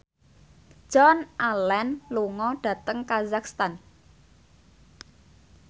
Joan Allen lunga dhateng kazakhstan